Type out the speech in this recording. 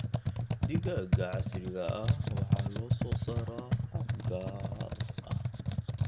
Digaagga casriga ah waxaa loo soo saaraa hab gaar ah.